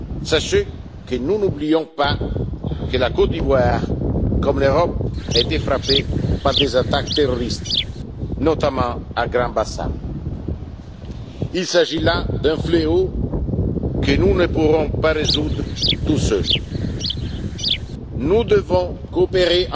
Sachez que nous n'oublions pas que la Côte d'Ivoire, tout comme l'Europe, a été frappée par des attaques terroristes, notamment à Grand Bassam. Il s'agit là d'un fléau que nous ne pourrons pas résoudre seuls. Nous devons coopérer